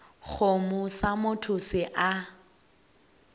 kgomo sa motho se a